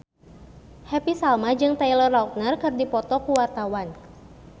Happy Salma jeung Taylor Lautner keur dipoto ku wartawan